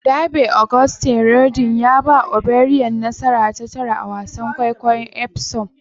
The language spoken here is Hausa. Derby: Auguste Rodin ya ba O'Brien nasara ta tara a wasan kwaikwayon Epsom